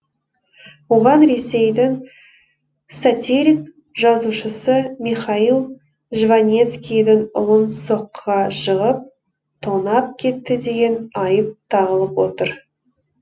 оған ресейдің сатирик жазушысы михаил жванецкийдің ұлын соққыға жығып тонап кетті деген айып тағылып отыр